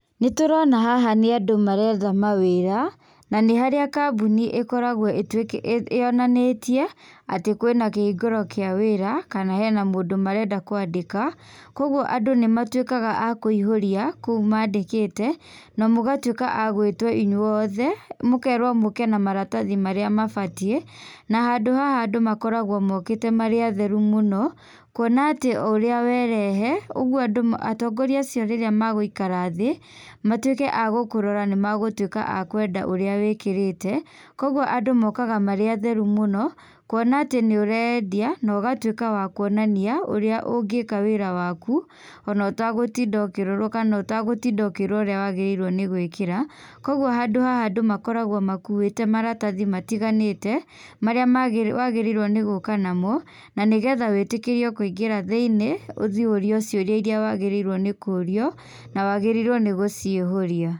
Nĩtũrona haha nĩ andũ maretha mawĩra na nĩharĩa kambuni ĩkoragwo ĩtu, yonanĩtie atĩ kwĩna kĩhingũro kĩa wĩra kana hena mũndũ marenda kwandĩka kwoguo andũ nĩmatwĩkaga a kũihũria kũu mandĩkĩte, na mũgatwĩka a gwĩtwo inyuothe mũkerwo mũke na maratathi marĩa mabatiĩ na handũ haha andũ makoragwo mokĩte marĩ atheru mũno kuona atĩ ũrĩa werehe, ũguo andũ atongoria acio rĩrĩa megũikara thĩĩ matwĩke a gũkũrora nĩ magũtwĩka a kwenda ũrĩa wĩkĩrĩte koguo andũ mokaga marĩ atheru mũno kuona atĩ nĩũreyendia nogatwĩka wa kuonania ũrĩa ũngĩka wĩra waku ona ũtagũtinda ũkĩrorwo kana ũkĩrwo ũrĩa wagĩrĩirwo nĩ gwĩkĩra, kwoguo handũ haha andũ makoragwo makuĩte maratathi matiganĩte marĩa magĩ wagĩrĩirwo nĩ gũka namo nanĩgetha wĩtĩkĩrio kũingĩra thĩ-iniĩ ũthi ũrio ciũria iria wagĩrĩirwo nĩkũrio na wagĩrĩirwo nĩ gũcihũria.